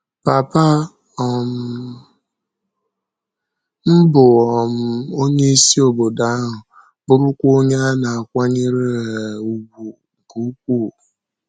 Pàpà um m bụ um onye isi obodo ahụ, bụrụkwa onye a na-akwànyèrè um ùgwù nke ukwuu.